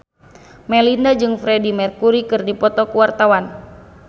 Melinda jeung Freedie Mercury keur dipoto ku wartawan